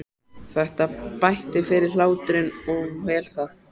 Þetta bætti fyrir hláturinn og vel það.